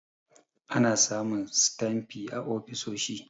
Ana samun sitanfi a ofisoshi.